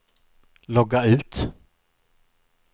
logga ut